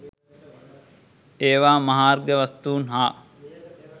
ඒවා මහාර්ඝ වස්තුන් හා